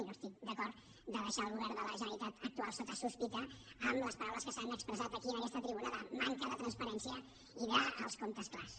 i no estic d’acord a deixar el govern de la generalitat actual sota sospita amb les paraules que s’han expressat aquí en aquesta tribuna de manca de transparència i dels comptes clars